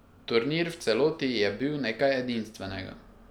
Turnir v celoti je bil nekaj edinstvenega.